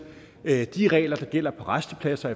at de regler der gælder på rastepladser